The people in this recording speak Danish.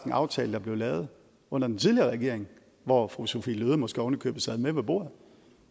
en aftale der blev lavet under den tidligere regering hvor fru sophie løhde måske ovenikøbet sad med ved bordet